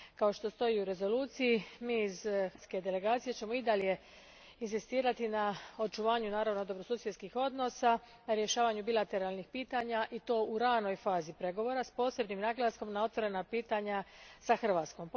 Kao što stoji u rezoluciji, mi iz hrvatske delegacije ćemo i dalje inzistirati na očuvanju dobrosusjedskih odnosa, rješavanju bilateralnih pitanja i to u ranoj fazi pregovora, s posebnim naglaskom na otvorena pitanja s Hrvatskom.